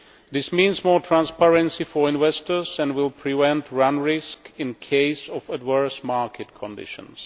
This means more transparency for investors and will prevent run risk in the case of adverse market conditions.